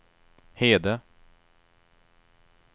Hede